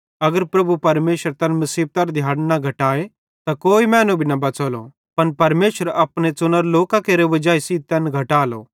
अगर प्रभु परमेशर तैन मुसीबतेरी दिहाड़न न घटाए त कोई मैनू भी न बच़लो पन परमेशर अपने च़ुनोरे लोकां केरे वजाई सेइं तैन दिहाड़न घटालो